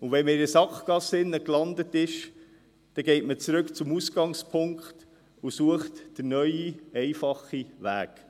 Wenn man in einer Sackgasse gelandet ist, geht man zurück zum Ausgangspunkt und sucht den neuen, einfachen Weg.